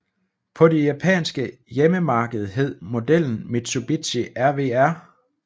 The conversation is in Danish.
På det japanske hjemmemarked hed modellen Mitsubishi RVR